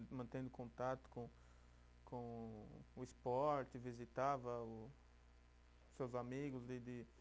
Mantendo contato com, com o esporte, visitava o seus amigos de de